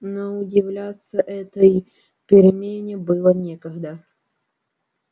но удивляться этой перемене было некогда